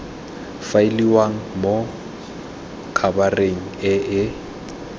faeliwang mo khabareng e e